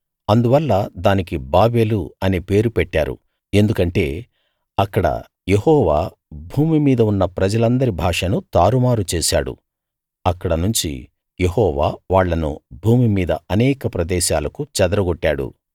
అందువల్ల దానికి బాబెలు అనే పేరు పెట్టారు ఎందుకంటే అక్కడ యెహోవా భూమి మీద ఉన్న ప్రజలందరి భాషను తారుమారు చేశాడు అక్కడ నుంచి యెహోవా వాళ్ళను భూమి మీద అనేక ప్రదేశాలకు చెదరగొట్టాడు